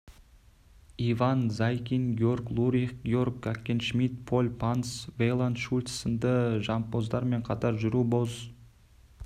иван заикин георг лурих георг гаккеншмидт поль понс вейланд шульц сынды жампоздармен қатар жүру боз